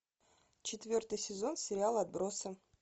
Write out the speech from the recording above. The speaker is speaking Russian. четвертый сезон сериал отбросы